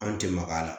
An tɛ maga a la